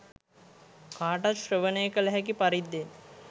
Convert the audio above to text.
කාටත් ශ්‍රවණය කළ හැකි පරිද්දෙන්